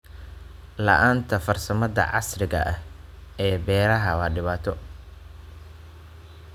La'aanta farsamada casriga ah ee beeraha waa dhibaato.